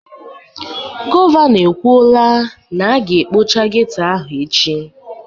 Gọvanọ ekwuoraa na a ga ekpocha geto ahụ echi